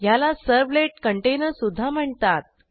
ह्याला सर्व्हलेट कंटेनरसुध्दा म्हणतात